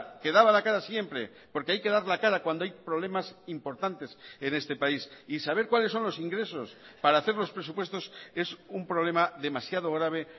que daba la cara siempre porque hay que dar la cara cuando hay problemas importantes en este país y saber cuáles son los ingresos para hacer los presupuestos es un problema demasiado grave